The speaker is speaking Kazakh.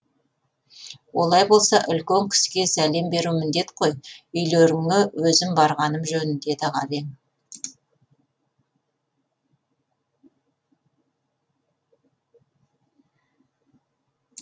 олай болса үлкен кісіге сәлем беру міндет қой үйлеріңе өзім барғаным жөн деді ғабең